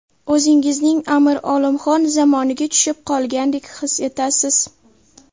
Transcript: O‘zingizni Amir Olimxon zamoniga tushib qolgandek his etasiz.